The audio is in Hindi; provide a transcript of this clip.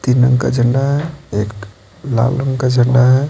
तीन रंग का झंडा है एक लाल रंग का झंडा है।